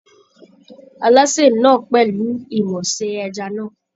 Alásè náà pẹ̀lú ìmọ̀ ṣe ẹja náà